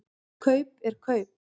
Kaup er kaup.